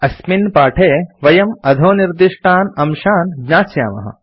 अस्मिन् पाठे वयम् अधोनिर्दिष्टान् अंशान् ज्ञास्यामः